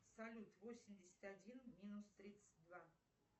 салют восемьдесят один минус тридцать два